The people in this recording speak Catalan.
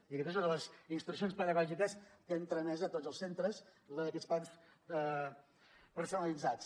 i aquesta és una de les instruccions pedagògiques que hem tramès a tots els centres la d’aquests plans personalitzats